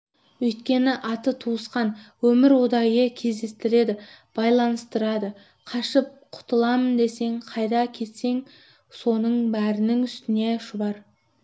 өйткені аты туысқан өмір ұдайы кездестіреді байланыстырады қашып құтылам десең қайда кетесің соның бәрінің үстіне шұбар